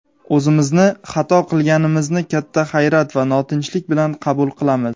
o‘zimizni "xato qilgan"imizni katta hayrat va notinchlik bilan qabul qilamiz.